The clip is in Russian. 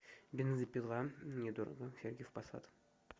бензопила недорого сергиев посад